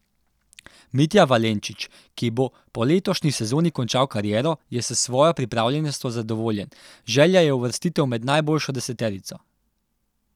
Mitja Valenčič, ki bo po letošnji sezoni končal kariero, je s svojo pripravljenostjo zadovoljen, želja je uvrstitev med najboljšo deseterico.